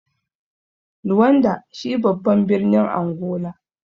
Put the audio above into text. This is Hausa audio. Luanda shi babban birnin Angola.